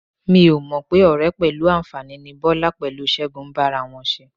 Mi ò mọ̀ pé ọ̀rẹ́ pẹ̀lú àǹfàní ni Bọ́lá pẹ̀lú Ṣẹ́gun ń bá ara wọn ṣe.